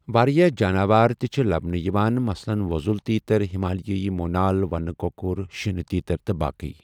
واریاہ جاناوار تہِ چھِ لبنہٕ یِوان، مثلاً وۄزُل تیٖتر، ہمالیٲیی مونال، ونہٕ کۄکُر، شینہ تیٖتر تہٕ باقی۔